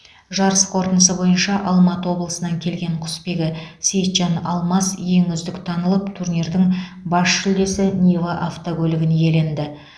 жарыс қорытындысы бойынша алматы облысынан келген құсбегі сейітжан алмас ең үздік танылып турнирдің бас жүлдесі нива автокөлігін иеленді